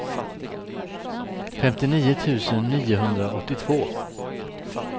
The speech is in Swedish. femtionio tusen niohundraåttiotvå